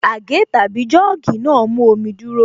Àgé/Jọ́ọ̀gì náà mú omi dúrọ́